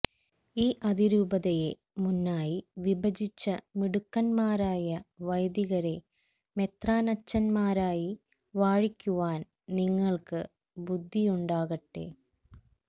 ഈ അതിരൂപതയെ മൂന്നായി വിഭജിച്ച മിടുക്കന്മാരായ വൈദികരെ മെത്രാനച്ചന്മാരായി വാഴിക്കുവാന് നിങ്ങള്ക്ക് ബുധിയുണ്ടാകട്ടെ